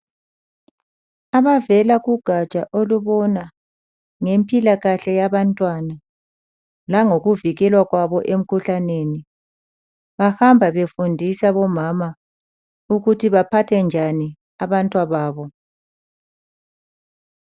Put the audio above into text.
Abavela kugatsha olubona ngempilakahle yabantwana langokuvikelwa kwabo emkhuhlaneni bahamba befundisa omama ukuthi baphathe njani abantwababo.